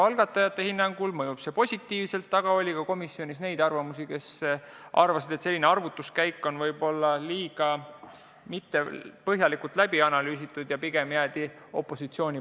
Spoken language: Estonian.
Algatajate hinnangul mõjuks see positiivselt, aga komisjonis oli ka neid, kes arvasid, et asjaomane arvutuskäik pole kuigi põhjalikult läbi analüüsitud, ja pigem jäädi opositsiooni.